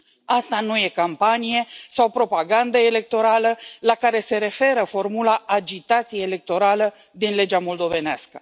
Asta nu este campanie sau propagandă electorală, la care se referă formula agitație electorală din legea moldovenească.